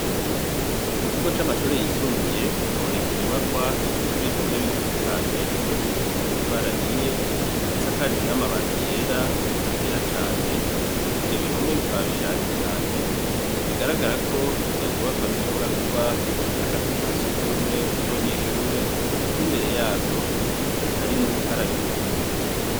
Ku kigo c'amashure yisumbuye, haboneka inyubakwa ifise ibihome bigufi cane, vyubakishijwe amatafari ahiye, isakajwe n'amabati yera ariko atera cane, ivyo bihome bikaba bishaje cane, bigaragara ko izo nyubakwa zishobora kuba ari akazu ka surwumwe k'abanyeshure, kuko imbere yazo hari n'ubukarabiro.